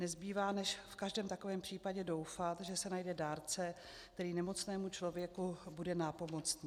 Nezbývá než v každém takovém případě doufat, že se najde dárce, který nemocnému člověku bude nápomocný.